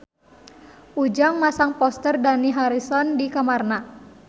Ujang masang poster Dani Harrison di kamarna